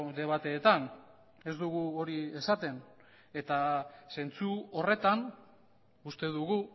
debateetan ez dugu hori esaten eta zentzu horretan uste dugu